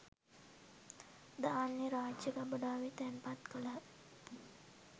ධාන්‍ය රාජ්‍ය ගබඩාවේ තැන්පත් කළහ